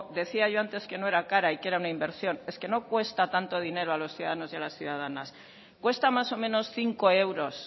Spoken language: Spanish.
decía yo antes que no era cara y que era una inversión es que no cuesta tanto dinero a los ciudadanos y a las ciudadanas cuesta más o menos cinco euros